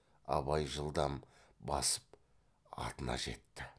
абай жылдам басып атына жетті